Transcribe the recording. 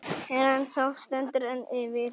Rannsókn stendur enn yfir